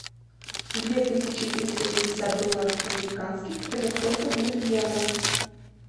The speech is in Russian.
две тысячи триста пятьдесят долларов американских это сколько будет в евро